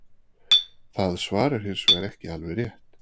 Það svar er hins vegar ekki alveg rétt.